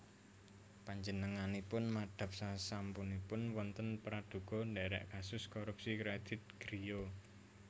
Panjenenganipun madhap sasampunipun wonten pradhuga ndherek kasus korupsi kredit griya